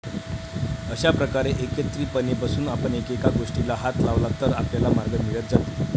अशा प्रकारे एकत्रितपणे बसून आपण एकेका गोष्टीला हात लावला तर आपल्याला मार्ग मिळत जातील.